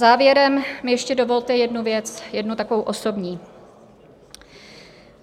Závěrem mi ještě dovolte jednu věc, jednu takovou osobní.